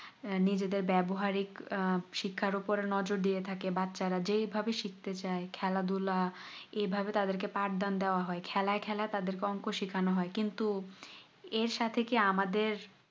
নিজেদের ব্যবহারিক শিক্ষারউপর নজুর দিয়ে থাকে বাচ্চারা যেই ভাবে শিখতে চাই খেলা ধুলা এভাবে তাদেকে পাঠদান দেওয়া হয় খেলায় খেলায় তাদেরকে অঙ্ক সেখানো হয় কিন্তু এর সাথে কি আমাদের